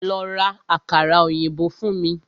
Lọ́ rá àkàrà òyìnbó fún mí!